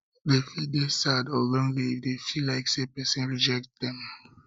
dem fit dey sad or lonely if dem feel like say persin reject dem